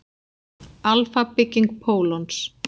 Alfa-bygging pólons.